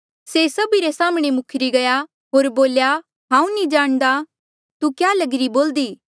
तिन्हें सभी रे साम्हणें से मुखरी गया होर बोल्या हांऊँ नी जाणदा तू क्या लगरी बोल्दी